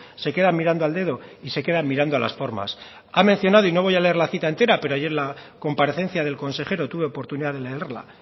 se queda mirando al dedo y se queda mirando a las formas ha mencionado y no voy a leer la cita entera pero ayer en la comparecencia del consejero tuve oportunidad de leerla